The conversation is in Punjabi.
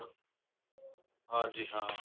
ਹਾਂਜੀ ਹਾਂ